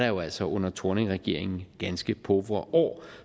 jo altså under thorning regeringen ganske pauvre år